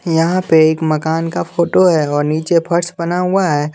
यहाँ पे एक मकान का फोटो है और नीचे फर्श बना हुआ है।